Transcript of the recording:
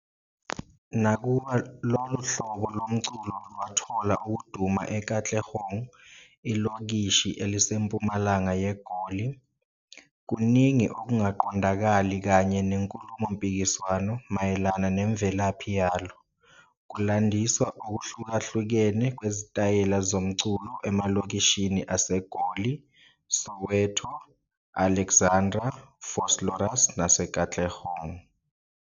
Nakuba lolu hlobo lomculo lwathola ukuduma eKatlehong, ilokishi elisempumalanga yeGoli, kuningi okungaqondakali kanye nenkulumompikiswano mayelana nemvelaphi yalo, kulandisa okuhlukahlukene kwezitayela zomculo emalokishini aseGoli - Soweto, Alexandra, Vosloorus nase Katlehong.